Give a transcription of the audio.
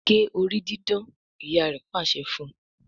gé orí didán! ìyá rẹ pàṣẹ fún.